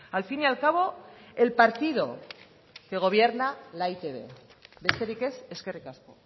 al fin y al cabo el partido que gobierna la e i te be besterik ez eskerrik asko